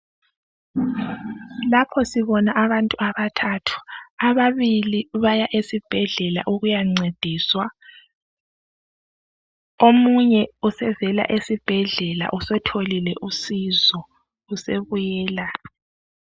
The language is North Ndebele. Lapho sibona abantu abathathu ababili baya esibhedlela ukuyancediswa omunye usevela esibhedlela usetholile usizo usebuyela.